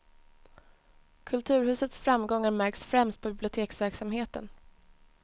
Kulturhusets framgångar märks främst på biblioteksverksamheten.